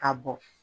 Ka bɔn